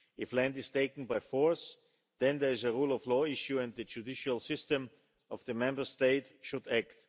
If land is taken by force, then there is a rule-of-law issue, and the judicial system of the Member State should act.